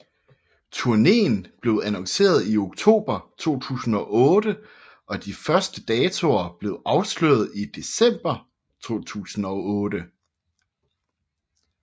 Turnéen blev annonceret i oktober 2008 og de første datoer blev afsløret i december 2008